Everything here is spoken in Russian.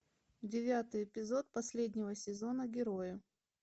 девятый эпизод последнего сезона герои